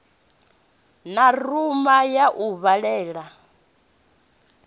na rumu ya u vhalela